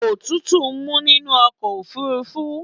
Òtútù mú nínú ọkọ̀ ofúrúfú.